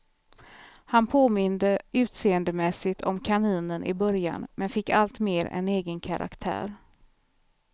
Han påminde utseendemässigt om kaninen i början, men fick alltmer en egen karaktär.